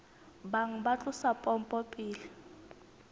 bang ba tlosa pompo pele